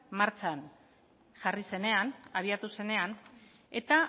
martxan jarri zenean abiatu zenean eta